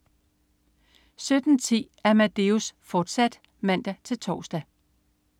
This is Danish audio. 17.10 Amadeus, fortsat (man-tors)